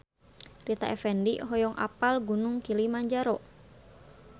Rita Effendy hoyong apal Gunung Kilimanjaro